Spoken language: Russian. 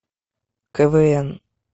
квн